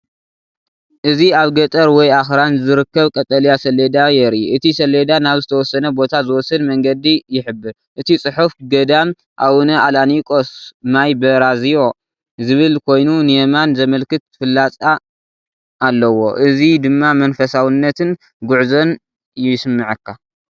እዚ ኣብ ገጠር ወይ ኣኽራን ዝርከብ ቀጠልያ ሰሌዳ የርኢ። እቲ ሰሌዳ ናብ ዝተወሰነ ቦታ ዝወስድ መንገዲ ይሕብር። እቲ ጽሑፍ "ገዳም ኣብነ ኣላቂኖ ማይ በራዝዩ" ዝብል ኮይኑ ንየማን ዘመልክት ፍላጻ ኣለዎ። እዚ ድማ መንፈሳውነትን ጉዕዞን ይስመዓካ።